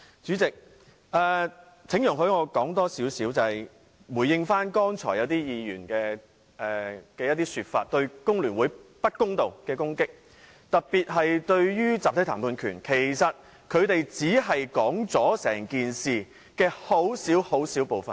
主席，請容許我多說一些，以回應剛才一些議員對香港工會聯合會不公道的攻擊，特別是關於集體談判權一事，其實他們只是說出整件事的很小部分。